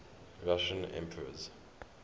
russian emperors